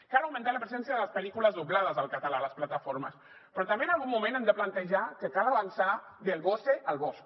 cal augmentar la presència de les pel·lícules doblades al català a les plataformes però també en algun moment hem de plantejar que cal avançar del vose al vosc